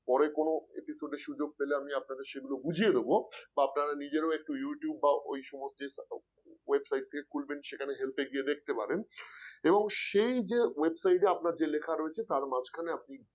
পরে কোন episode এ সুযোগ পেলে আমি আপনাদের সেগুলো বুঝিয়ে দেব বা আপনারা নিজেরাও একটু youtube বা ওই সমস্ত website থেকে খুলবেন সেখানে help গিয়ে দেখতে পারেন এবং সেই যে website এ আপনার যে লেখা রয়েছে তার মাঝখানে আপনি